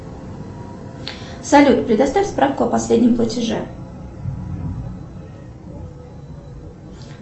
салют предоставь справку о последнем платеже